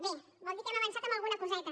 bé vol dir que hem avançat en alguna coseta